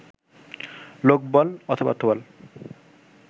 লোকবল/অর্থবল